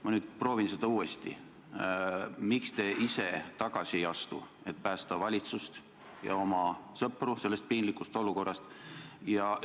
Ma nüüd proovin uuesti: miks te ise tagasi ei astu, et päästa valitsust ja oma sõpru sellest piinlikust olukorrast?